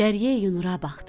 Dəryəyi Nura baxdı.